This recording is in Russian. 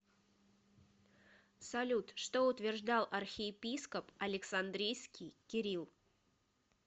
салют что утверждал архиепископ александрийский кирилл